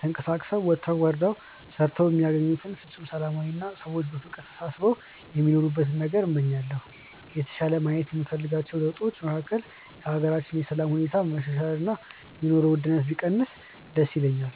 ተንቀሳቅሰው ወጥተው ወርደው ሰርተው የሚያገኙበት ፍፁም ሰላማዊ አና ሰዎች በፍቅር ተሳስበው የሚኖሩበትን ነገን እመኛለሁ። የተሻለ ማየት የምፈልጋቸው ለውጦች መካከል የሀገራችንን የሰላም ሁኔታ መሻሻል እና የኑሮ ውድነቱ ቢቀንስ ደስ ይለኛል።